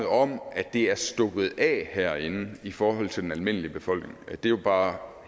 om at det er stukket af herinde i forhold til den almindelige befolkning at det jo bare